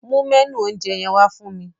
Mu mẹ́nù oúnjẹ yẹn wá fún mi.